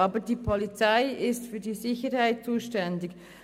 Aber die Polizei ist für die Sicherheit zuständig.